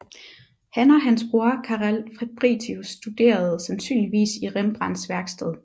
Han og hans bror Carel Fabritius studerede sandsynligvis i Rembrandts værksted